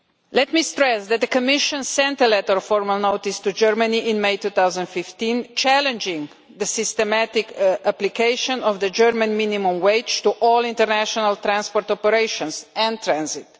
Let me stress that the Commission sent a letter of formal notice to Germany in May 2015 challenging the systematic application of the German minimum wage to all international transport operations and transit.